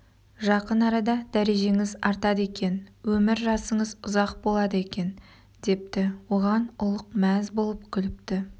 жақын арада дәрежеңіз артады екен өмір жасыңыз ұзақ болады екен депті оған ұлық мәз болып күліпті